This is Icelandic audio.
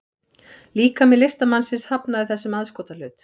Líkami listamannsins hafnaði þessum aðskotahlut